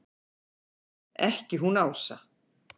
Ekki hún Ása!